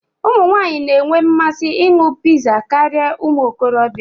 Ụmụ nwanyị na-enwe mmasị ịṅụ pizza karịa ụmụ okorobịa.